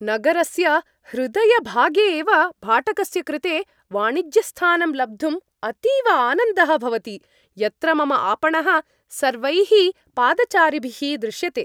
नगरस्य हृदयभागे एव भाटकस्य कृते वाणिज्यस्थानं लब्धुम् अतीव आनन्दः भवति, यत्र मम आपणः सर्वैः पादचारिभिः दृश्यते।